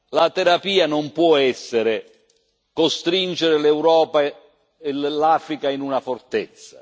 La terapia non può essere quella di costringere l'Europa e l'Africa in una fortezza.